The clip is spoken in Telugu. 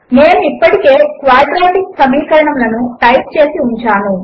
నేను ఇప్పటికే క్వాడ్రాటిక్ సమీకరణములను టైప్ చేసి ఉంచాను